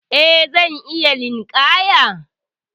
Eh, zan iya linƙaya.